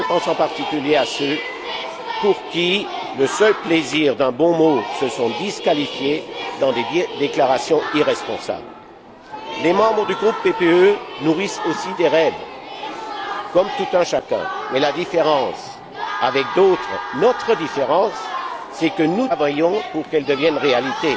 Je pense en particulier à ceux qui, pour le seul plaisir d'un bon mot, se sont disqualifiés dans des déclarations irresponsables. Les membres du groupe PPE nourrissent aussi des rêves, comme tout un chacun, mais la différence avec d'autres, notre différence, c'est que nous travaillons pour qu'ils deviennent réalité.